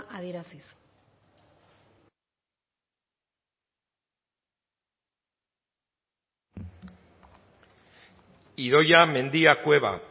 adieraziz idoia mendia cueva